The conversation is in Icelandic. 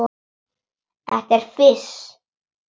Þetta er fis.